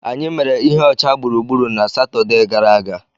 Anyị mere ihe ọcha gburugburu na Satọde gara aga.